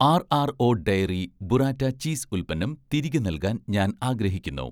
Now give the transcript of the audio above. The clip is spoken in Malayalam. ആർ.ആർ.ഒ ഡയറി ബുറാറ്റ ചീസ് ഉൽപ്പന്നം തിരികെ നൽകാൻ ഞാൻ ആഗ്രഹിക്കുന്നു